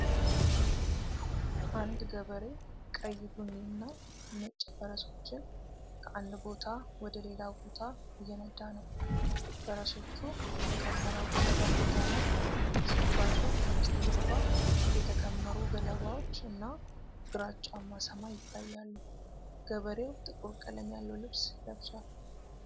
አንድ ገበሬ ቀይ ቡኒ እና ነጭ ፈረሶችን ከአንድ ቦታ ወደ ሌላ ቦታ እየነዳ ነው። ፈረሶቹ በተከመረው ገለባ ሜዳ ላይ ሲጓዙ ከበስተጀርባ የተከመሩ ገለባዎች እና ግራጫማ ሰማይ ይታያሉ። ገበሬው ጥቁር ቀለም ያለው ልብስ ለብሷል።